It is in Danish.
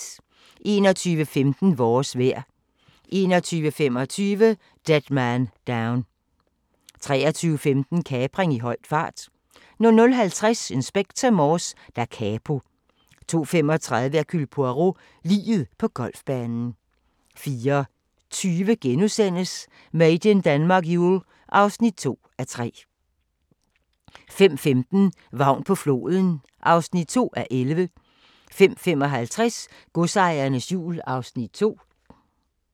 21:15: Vores vejr 21:25: Dead Man Down 23:15: Kapring i høj fart 00:50: Inspector Morse: Da Capo 02:35: Hercule Poirot: Liget på golfbanen 04:20: Made in Denmark Jul (2:3)* 05:15: Vagn på floden (2:11) 05:55: Godsejernes jul (Afs. 2)